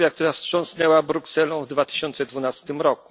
zdrowia, która wstrząsnęła Brukselą w 2012 r.